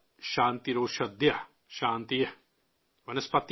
, शान्तिरेव शान्ति, सा मा शान्तिरेधि।।